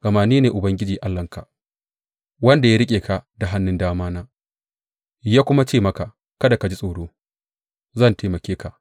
Gama ni ne Ubangiji Allahnka, wanda ya riƙe ka da hannun damana ya kuma ce maka, Kada ka ji tsoro; zan taimake ka.